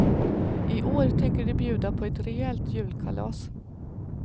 I år tänker de bjuda på ett rejält julkalas.